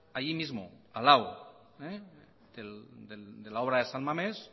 ahí mismo al lado de la obra de san mames